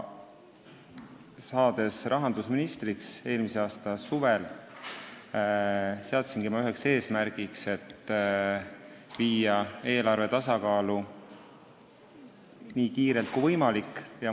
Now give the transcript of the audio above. Saades eelmise aasta suvel rahandusministriks, seadsingi ma üheks eesmärgiks viia eelarve tasakaalu nii kiiresti kui võimalik.